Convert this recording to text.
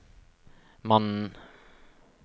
mannen